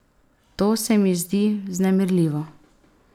To se mi zdi vznemirljivo.